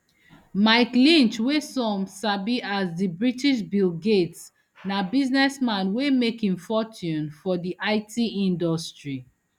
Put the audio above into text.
mike lynch wey some sabi as di british bill gates na businessman wey make im fortune for di it industry